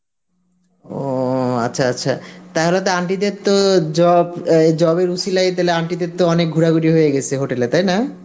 ও আচ্ছা আচ্ছা, তাহলে তো aunty দের তো job অ্যাঁ job এর অছিলায় তাহলে aunty দের তো অনেক ঘোরাঘুরি হয়ে গেসে hotel এ, তাই না?